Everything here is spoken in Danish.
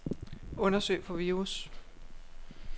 Undersøg for virus.